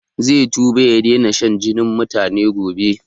Zai tuba ya daina shan jinin mutane gobe